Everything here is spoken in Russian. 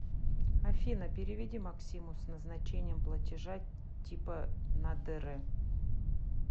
афина переведи максиму с назначением платежа типа на др